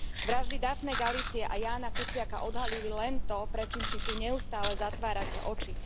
Vraždy Daphne Galizie a Jána Kuciaka odhalili len to, pred čím si tu neustále zatvárate oči.